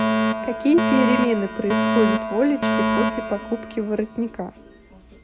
какие перемены происходят в олечке после покупки воротника